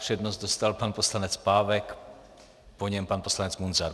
Přednost dostal pan poslanec Pávek, po něm pan poslanec Munzar.